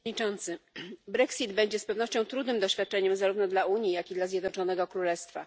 Panie Przewodniczący! Brexit będzie z pewnością trudnym doświadczeniem zarówno dla Unii, jak i dla Zjednoczonego Królestwa.